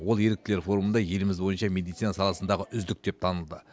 ол еріктілер форумында еліміз бойынша медицина саласындағы үздік деп танылды